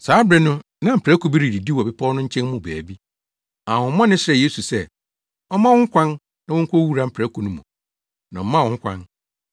Saa bere no na mprako bi redidi wɔ bepɔw no nkyɛn mu baabi. Ahohommɔne no srɛɛ Yesu sɛ ɔmma wɔn ho kwan na wonkowura mprako no mu. Na ɔmaa wɔn ho kwan.